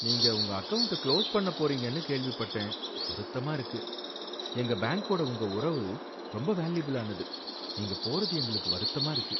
நீங்க உங்க account close பண்ணப் போறீங்கன்னு கேள்விப்பட்டேன், வருத்தமா இருக்கு, எங்க பேங்கோட உங்க உறவு ரொம்ப வேல்யுயபில் ஆனது. நீங்க போறது எங்களுக்கு வருத்தமா இருக்கு.